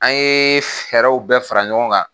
An ye fɛɛrɛw bɛɛ fara ɲɔgɔn kan